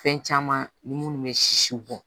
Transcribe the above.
Fɛn caman ni munnu bɛ sisi bɔ